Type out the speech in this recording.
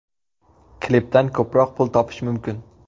Klipdan ko‘proq pul topish mumkin.